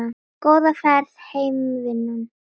Góða ferð heim vinan.